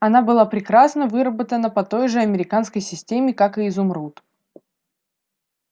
она была прекрасно выработана по той же американской системе как и изумруд